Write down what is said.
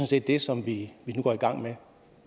set det som vi nu går i gang med